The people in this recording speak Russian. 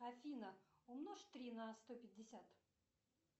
афина умножь три на сто пятьдесят